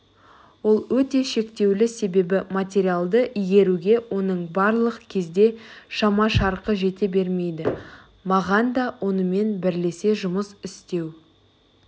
ол өте шектеулі себебі материалды игеруге оның барлық кезде шама-шарқы жете бермейді маған да оныменен бірлесе жұмыс істеу